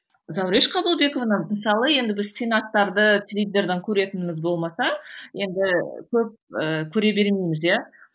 зауреш қабылбековна мысалы енді біз сенаттарды телевизордан көретініміз болмаса енді көп ііі көре бермейміз иә